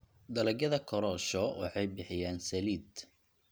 Dalagyada korosho waxay bixiyaan saliid.